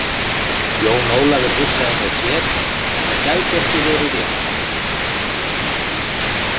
Jón Ólafur hugsaði með sér að það gæti ekki verið rétt.